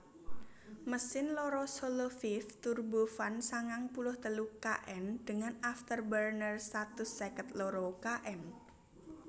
Mesin loro Soloviev turbofan sangang puluh telu kN dengan afterburner satus seket loro kN